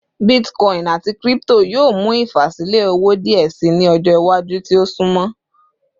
Bitcoin ati crypto yoo mu ifasilẹ owo diẹ sii ni ọjọ iwaju ti o sunmọ